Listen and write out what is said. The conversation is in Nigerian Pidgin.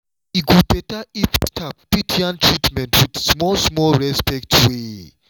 e go better if staff fit yarn treatments with small small respect way.